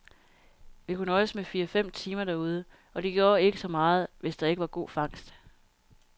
Vi kunne nøjes med fire timer derude, og det gjorde ikke så meget, hvis der ikke var god fangst.